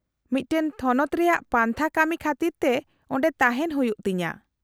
-ᱢᱤᱫᱴᱟᱝ ᱛᱷᱚᱱᱚᱛ ᱨᱮᱭᱟᱜ ᱯᱟᱱᱛᱷᱟ ᱠᱟᱹᱢᱤ ᱠᱷᱟᱹᱛᱤᱨ ᱛᱮ ᱚᱸᱰᱮ ᱛᱟᱦᱮᱱ ᱦᱩᱭᱩᱜ ᱛᱤᱧᱟᱹ ᱾